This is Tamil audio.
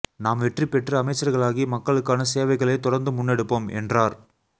நாம் வெற்றி பெற்று அமைச்சர்களாகி மக்களுக்கான சேவைகளை தொடர்ந்து முன்னெடுப்போம் என்றார்